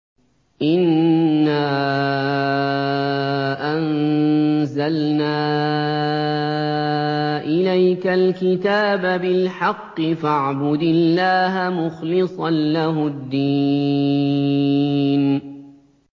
إِنَّا أَنزَلْنَا إِلَيْكَ الْكِتَابَ بِالْحَقِّ فَاعْبُدِ اللَّهَ مُخْلِصًا لَّهُ الدِّينَ